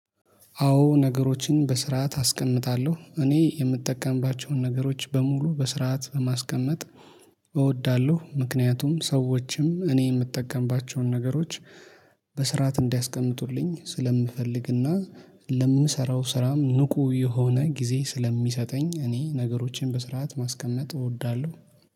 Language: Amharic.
አዎ ነገሮችን በስርዓት አስቀምጣለሁ እኔ የምጠቀምባቸውን ነገሮች በሙሉ በስርዓት ማስቀመጥ እወዳለሁ። ምክንያቱም ሰዎችም እኔ የምጠቀምባቸውን ነገሮች በስርዓት እንዲያስቀምጡልኝ ስለምፈልግና። ለምሰራው ስራም ንቁ የሆነ ጊዜ ስለሚሰጠኝ እኔ ነገሮቼን በስርዓት ማስቀመጥ እወዳለሁ